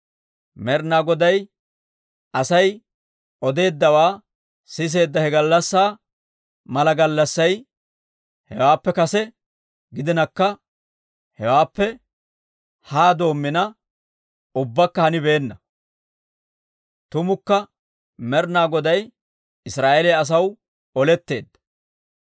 Med'inaa Goday Asay odeeddawaa siseedda he gallassaa mala gallassay hewaappe kase gidinakka, hewaappe haa doomina ubbakka hanibeenna. Tumukka Med'ina Goday Israa'eeliyaa asaw oletteedda!